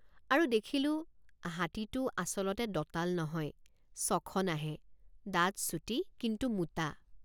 আৰু দেখিলোঁহাতীটে৷ আচলতে দঁতাল নহয় চখনাহে দাঁত চুটি কিন্তু মোটা।